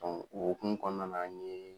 o hokumun kɔnɔna na n yeee.